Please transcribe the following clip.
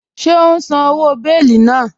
Ṣẹ̀ o n sán owó bèélì náà?